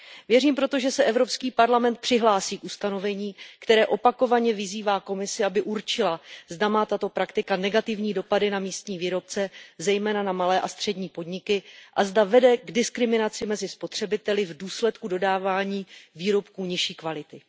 Věřím proto, že se Evropský parlament přihlásí k ustanovení, které opakovaně vyzývá Komisi, aby určila, zda má tato praktika negativní dopady na místní výrobce, zejména na malé a střední podniky, a zda vede k diskriminaci mezi spotřebiteli v důsledku dodávání výrobků nižší kvality.